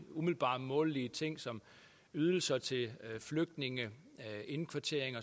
umiddelbart målelige ting som ydelser til flygtninge indkvartering og